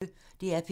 DR P1